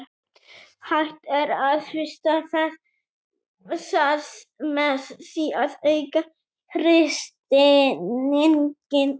Hægt er að frysta það með því að auka þrýstinginn.